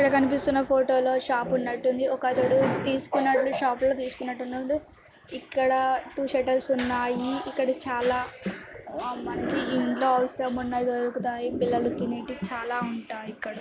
ఇక్కడ కనిపిస్తున్న ఫోటో లో షాప్ ఉన్నాటుంది ఒకడు తేస్కున్నాడు షాప్ లో తీస్కునట్టు ఉన్నాడు ఇక్కడ టూ శేటర్స్ ఉన్నాయి ఇక్కడ చాలా మంది ఇల్లు అవసరం ఉన్నాయి దొరుకుతాయి పిల్లలు తినేటివి చాలా ఉంటాయి ఇక్కడ